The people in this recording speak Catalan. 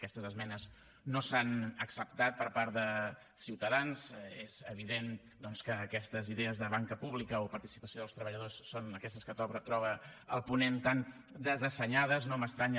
aquestes esmenes no s’han acceptat per part de ciutadans és evident doncs que aquestes idees de banca pública o participació dels treballadors són aquestes que troba el ponent tan desassenyades no m’estranya